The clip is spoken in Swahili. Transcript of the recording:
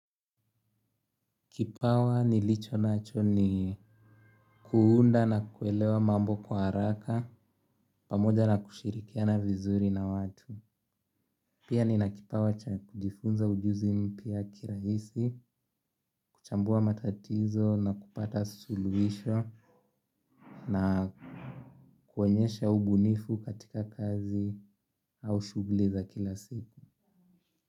Kipawa nilicho nacho ni kuunda na kuelewa mambo kwa haraka pamoja na kushirikiana vizuri na watu. Pia nina kipawa cha kujifunza ujuzi mpya kirahisi, kuchambua matatizo na kupata suluhisho na kuonyesha ubunifu katika kazi au shughuli za kila siku.